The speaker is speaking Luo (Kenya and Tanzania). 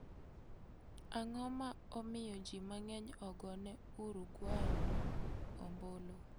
Ang'o ma omiyo ji mang'eny ogone Uruguay ombulu?